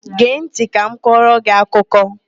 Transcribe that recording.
Gee ntị ka m kọrọ gị akụkọ!